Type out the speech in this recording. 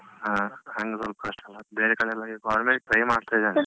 ಹ ಹಂಗ್ ಸ್ವಲ್ಪ ಕಷ್ಟಲ್ಲ, ಬೇರೆ ಕಡೆಯೆಲ್ಲ ಈಗ already try ಮಾಡ್ತಾ ಇದ್ದೇನೆ.